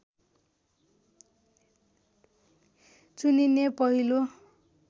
चुनिने पहिलो